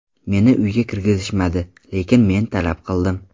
Meni uyga kirgizishmadi, lekin men talab qildim.